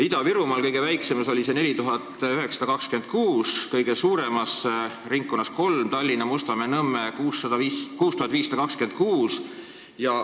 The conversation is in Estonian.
Ida-Virumaal oli see kõige väiksem – 4926, kõige suurem oli lihtkvoot ringkonnas nr 3, Tallinna Mustamäe, Nõmme – 6526.